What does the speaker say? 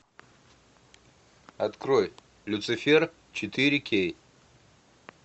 открой люцифер четыре кей